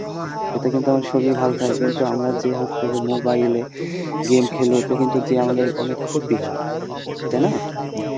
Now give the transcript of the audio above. এতে কিন্তু আমাদের শরীর ভালো থাকে কিন্তু আমরা যে হচ্ছে যে mobile এ game খেলি এতে কিন্তু যে আমাদের অনেক ক্ষতি হয়, তাই না?